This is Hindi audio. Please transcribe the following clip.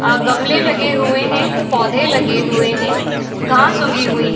अ गमले लगे हुए हैं। पौधे लगे हुए हैं। घास उगी हुई --